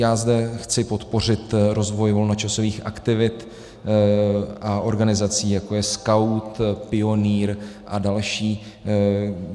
Já zde chci podpořit rozvoj volnočasových aktivit a organizací, jako je Skaut, Pionýr a další.